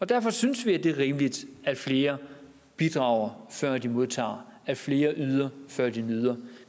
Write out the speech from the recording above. derfor synes vi det er rimeligt at flere bidrager før de modtager at flere yder før de nyder